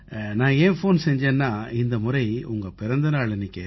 நான் ஏன் ஃபோன் செஞ்சேன்னா இந்த முறை உங்க பிறந்த நாள் அன்னைக்கு